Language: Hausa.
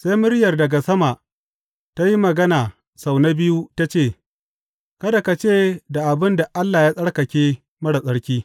Sai muryar daga sama ta yi magana sau na biyu, ta ce, Kada ka ce da abin da Allah ya tsarkake marar tsarki.’